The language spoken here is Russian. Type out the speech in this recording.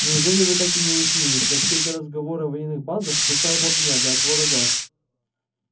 неужели вы так и не уяснили что все эти разговоры о военных базах пустая болтовня для отвода глаз